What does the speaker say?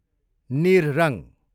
निर रङ